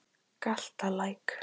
Galtalæk